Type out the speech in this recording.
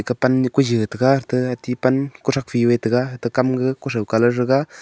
aka pan koini tega koi colour gaga.